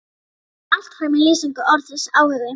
Þetta kemur allt fram í lýsingu orðsins áhugi